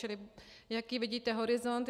Čili jaký vidíte horizont?